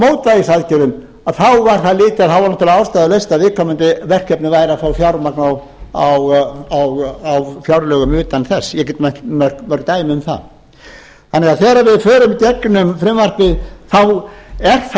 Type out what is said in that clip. mótvægisaðgerðum þá var náttúrlega ástæðulaust að viðkomandi verkefni væri að fá fjármagn á fjárlögum utan þess ég get nefnt mörg dæmi um það þegar við því förum í gegnum frumvarpið er